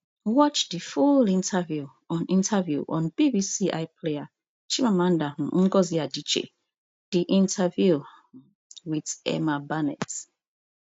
watch di full interview on interview on bbc iplayer chimamanda um ngozi adichie the interview um with emma barnett